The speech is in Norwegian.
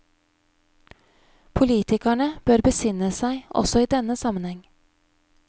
Politikerne bør besinne seg også i denne sammenheng.